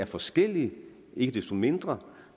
forskellige ikke desto mindre